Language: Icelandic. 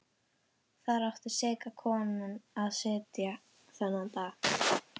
Þar átti seka konan að sitja þennan dag.